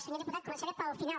senyor diputat començaré pel final